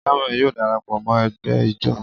Samuel yóò darapo mo egbe Ijó.